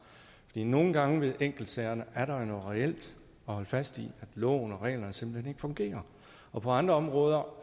fordi nogle gange ved enkeltsagerne er der noget reelt at holde fast i nemlig at loven og reglerne simpelt hen ikke fungerer og på andre områder